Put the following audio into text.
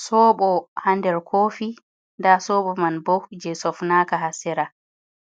Soobo ha nder kofi nda soobo man bo jei sofnaka ha sera.